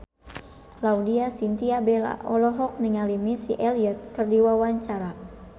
Laudya Chintya Bella olohok ningali Missy Elliott keur diwawancara